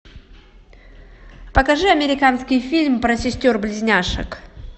покажи американский фильм про сестер близняшек